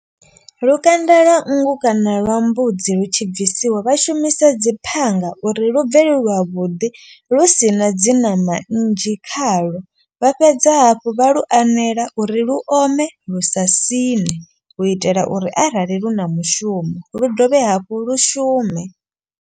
Lukanda lwa nngu kana lwa mbudzi lu tshi bvisiwa vha shumisa dzi phanga. Uri lu bve lu lwavhuḓi lu si na dzi ṋama nnzhi khalo. Vha fhedza hafhu vha lu anela uri lu ome lu sa siṋe. U itela uri arali lu na mushumo lu dovhe hafhu lu shume.